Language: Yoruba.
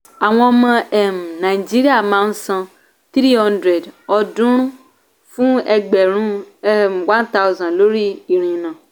àwọn ọmọ um nàìjíríà máa san three hundred ọ̀ọ́dúnrún fún ẹgbẹ̀rún um one thousand lórí ìrìnnà.